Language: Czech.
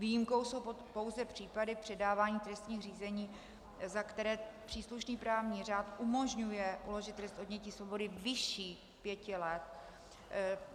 Výjimkou jsou pouze případy předávání trestních řízení, za které příslušný právní řád umožňuje uložit trest odnětí svobody vyšší pěti let.